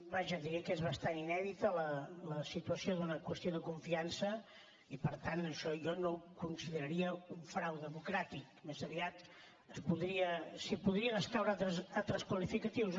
vaja diria que és bastant inèdita la situació d’una qüestió de confiança i per tant això jo no ho consideraria un frau democràtic més aviat s’hi podrien escaure altres qualificatius